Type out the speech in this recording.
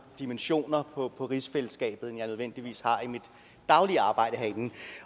dimensioner på rigsfællesskabet end jeg nødvendigvis har i mit daglige arbejde herinde